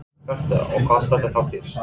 Birta: Og hvað stendur þá til?